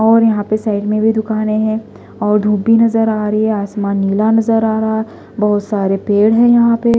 और यहां पे साइड में भी दुकानें हैं और धूप भी नजर आ रही है आसमान नीला नजर आ रहा है बहुत सारे पेड़ है यहां पे --